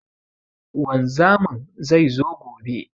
Wanzamin zai zo gobe.